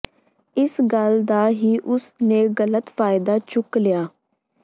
ਇਸ ਗੱਲ ਦਾ ਹੀ ਉਸ ਨੇ ਗਲਤ ਫਾਇਦਾ ਚੁੱਕ ਲਿਆ